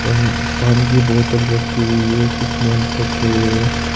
पानी की बोतल रखी हुई है कुछ नेल्स रखे हुए हैं।